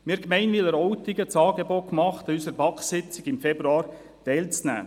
Wir machten der Gemeinde Wileroltigen das Angebot, an unserer BaK-Sitzung vom Februar teilzunehmen.